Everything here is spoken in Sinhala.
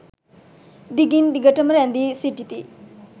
දිගින් දිගට ම රැඳී සිටිති.